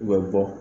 U bɛ bɔ